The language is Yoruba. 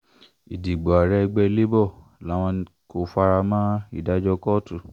ìdìbò ààrẹ ẹgbẹ́ labour làwọn kò fara mọ́ ìdájọ́ kóòtù